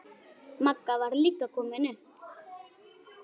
Magga var líka komin upp.